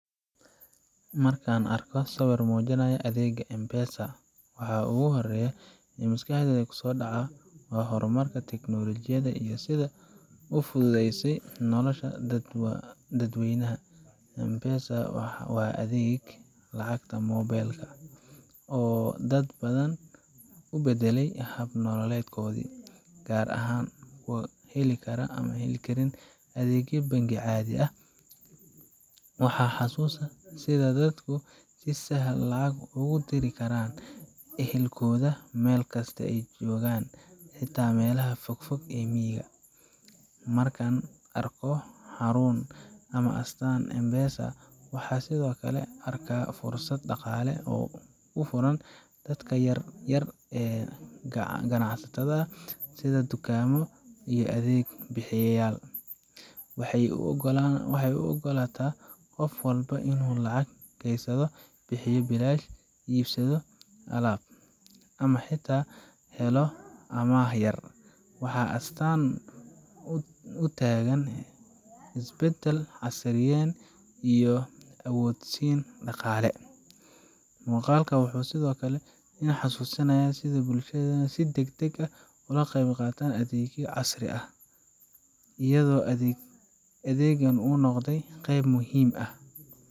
Markaan arko sawir muujinaya adeegga M-Pesa, waxa ugu horreeya ee maskaxdayda ku soo dhaca waa horumarka tiknoolajiyadda iyo sida ay u fududeysay nolosha dadweynaha. M-Pesa waa adeeg lacagta mobile ka ah oo dad badan u beddelay hab nololeedkoodii, gaar ahaan kuwa aan heli karin adeegyo bangi caadi ah. Waxaan xasuustaa sida ay dadku si sahal ah lacag ugu diri karaan ehelkooda meel kasta oo ay joogaan xitaa meelaha fog fog ee miyiga ah. Markaan arko xarun ama astaan M-Pesa ah, waxaan sidoo kale arkaa fursad dhaqaale oo u furan dadka yar yar ee ganacsatada ah, sida dukaamo iyo adeeg bixiyeyaal. Waxay u oggolaataa qof walba inuu lacag keydsado, bixiyo biilasha, iibsado alaab, ama xitaa helo amaah yar. Waa astaan u taagan isbadal, casriyeyn, iyo awoodsiin dhaqaale. Muuqaalkan wuxuu sidoo kale igu xasuusinayaa sida bulshadeennu si degdeg ah ula qabsatay adeegyo casri ah, iyadoo adeeggan uu noqday qayb muhiim ah.